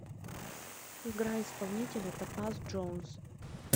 играй исполнителя топаз джонс